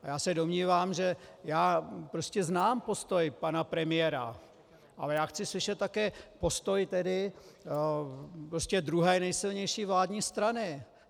A já se domnívám, že já prostě znám postoj pana premiéra, ale já chci slyšet také postoj tedy prostě druhé nejsilnější vládní strany.